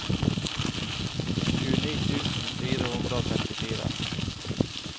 tjueni tusen fire hundre og trettifire